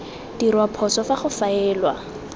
dirwa phoso fa go faelwa